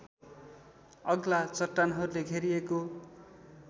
अग्ला चट्टानहरूले घेरिएको